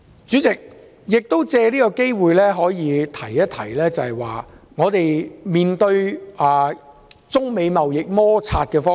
主席，我藉此機會談談我對香港面對中美貿易摩擦的意見。